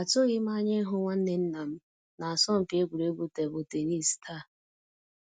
Atụghị m anya ịhụ nwa nwanne nnam na asọmpi egwuregwu tebụl tennis taa